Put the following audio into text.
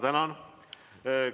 Tänan!